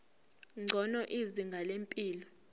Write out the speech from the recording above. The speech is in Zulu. ngcono izinga lempilo